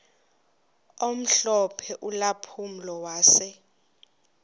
omhlophe ulampulo wase